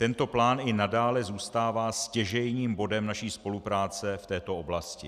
Tento plán i nadále zůstává stěžejním bodem naší spolupráce v této oblasti.